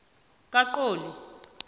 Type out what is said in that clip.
kaqoli